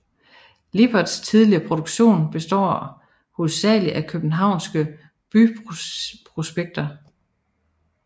Liberts tidlige produktion består hovedsageligt af københavnske byprospekter